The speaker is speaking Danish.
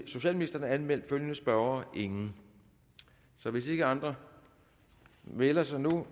socialministeren er anmeldt følgende spørgere ingen så hvis ikke andre melder sig nu